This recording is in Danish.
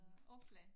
Opslag